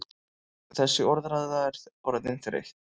Þessi orðræða er orðin þreytt!